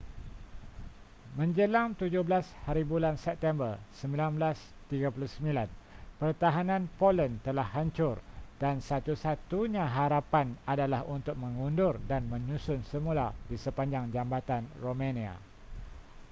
manjelang 17hb september 1939 pertahanan poland telah hancur dan satu-satunya harapan adalah untuk mengundur dan menyusun semula di sepanjang jambatan romania